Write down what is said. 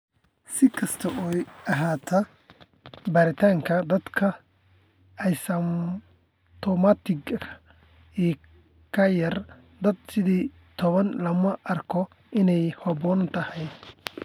Si kastaba ha ahaatee, baaritaanka dadka asymptomatic-ka ah ee ka yar da'da sideed iyo tobaan looma arko inay habboon tahay.